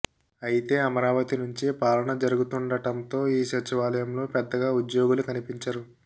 అయితే అమరావతి నుంచే పాలన జరుగుతుండటంతో ఈ సచివాలయంలో పెద్దగా ఉద్యోగులు కనిపించరు